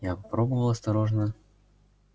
я попробовал осторожно